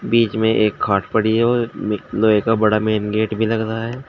बीच में एक खाट पड़ी हैं और मे लोहे का बड़ा मैन गेट भी लगा रहा हैं।